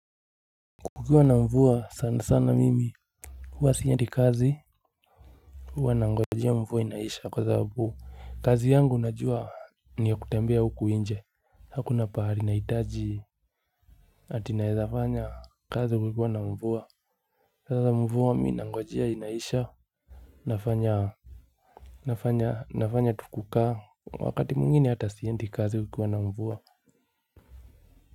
Kukiwa na mvua sana sana mimi huwa siendi kazi. Huwa na ngojea mvua inaisha kwa sababu kazi yangu unajua ni ya kutembea huku nje hakuna pahali nahitaji. Ati naeza fanya kazi kukiwa na mvua. Sasa mvua mi na ngojea inaisha. Nafanya tu kukaa wakati mwingine ata siendi kazi kukiwa na mvua.